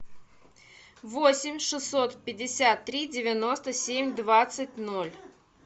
восемь шестьсот пятьдесят три девяносто семь двадцать ноль